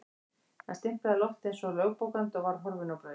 Hann stimplaði loftið eins og lögbókandi og var horfinn á braut.